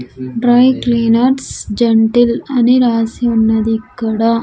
Dry cleaners gentle అని రాసి ఉన్నది ఇక్కడ.